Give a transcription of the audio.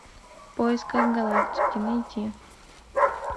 в поисках галактики найти